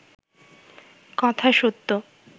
কথা সত্য